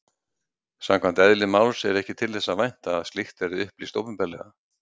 Samkvæmt eðli máls er ekki þess að vænta að slíkt verði upplýst opinberlega.